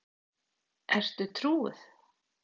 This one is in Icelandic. Ertu trúuð?